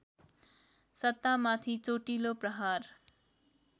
सत्तामाथि चोटिलो प्रहार